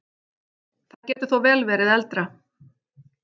Það getur þó vel verið eldra.